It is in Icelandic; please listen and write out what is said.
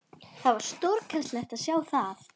Það var stórkostlegt að sjá það.